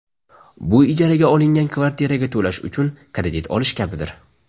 Bu ijaraga olingan kvartiraga to‘lash uchun kredit olish kabidir.